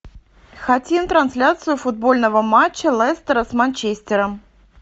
хотим трансляцию футбольного матча лестера с манчестером